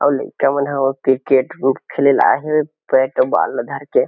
अऊ लइका मन ह क्रिकेट उट खेले ल आए हे बैट अऊ बाल ल धर के--